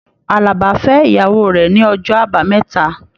Àlàbá fẹ ìyàwó rẹ ní ọjọ àbámẹ́ta